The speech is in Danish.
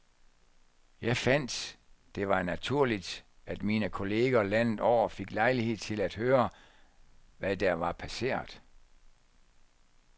Jeg fandt, det var naturligt, at mine kolleger landet over fik lejlighed til at høre, hvad der var passeret.